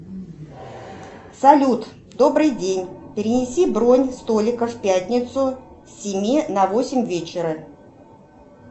салют добрый день перенеси бронь столика в пятницу с семи на восемь вечера